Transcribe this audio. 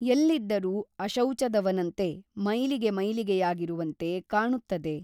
ಎಲ್ಲಿದ್ದರೂ ಅಶೌಚದವನಂತೆ ಮೈಲಿಗೆ ಮೈಲಿಗೆಯಾಗಿರುವಂತೆ ಕಾಣುತ್ತದೆ.